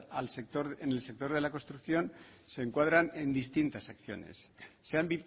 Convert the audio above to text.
en el sector de la construcción se encuadran en distintas acciones se han